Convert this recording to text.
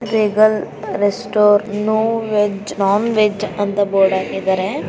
Regal ರೆಸ್ಮೋ no veg non veg ಅಂತ board ಹಾಕಿದಾರೆ .